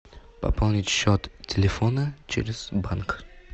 пополнить счет телефона через банк